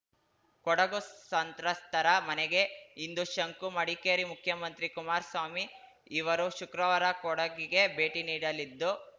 ಕೊಡಗು ಸಂತ್ರಸ್ತರ ಮನೆಗೆ ಇಂದು ಶಂಕು ಮಡಿಕೇರಿ ಮುಖ್ಯಮಂತ್ರಿ ಕುಮಾರಸ್ವಾಮಿ ಇವರು ಶುಕ್ರವಾರ ಕೊಡಗಿಗೆ ಭೇಟಿ ನೀಡಲಿದ್ದು